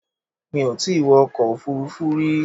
Mi ò tí wọ ọkọ̀ òfuurufú rí.